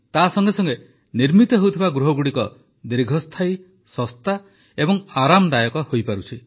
ତାସଙ୍ଗେ ସଙ୍ଗେ ନିର୍ମିତ ହେଉଥିବା ଗୃହଗୁଡ଼ିକ ଦୀର୍ଘସ୍ଥାୟୀ ଶସ୍ତା ଏବଂ ଆରାମଦାୟକ ହୋଇପାରୁଛି